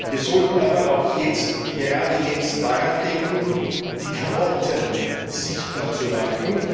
Wir sollten aber auch gerade jetzt daran denken, die Karotten sichtbar zu machen.